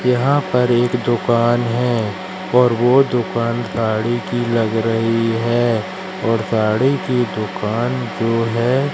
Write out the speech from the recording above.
यहां पर एक दुकान है और वो दुकान गाड़ी की लग रही है और गाड़ी की दुकान जो है--